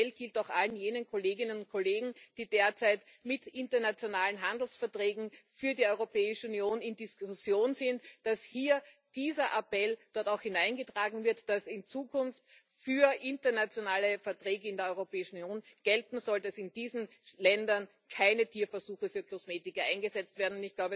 Mein Appell gilt auch allen jenen Kolleginnen und Kollegen, die derzeit mit internationalen Handelsverträgen für die Europäische Union in Diskussion sind, dass dieser Appell dort auch hineingetragen wird, dass in Zukunft für internationale Verträge in der Europäischen Union gelten soll, dass in diesen Ländern keine Tierversuche für Kosmetika eingesetzt werden.